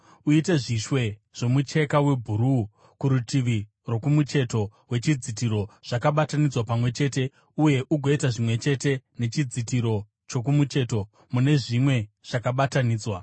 Uite zvishwe zvomucheka webhuruu kurutivi rwokumucheto wechidzitiro zvakabatanidzwa pamwe chete, uye ugoita zvimwe chete nechidzitiro chokumucheto mune zvimwe zvakabatanidzwa.